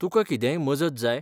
तुका कितेंय मजत जाय?